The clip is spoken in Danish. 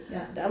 Ja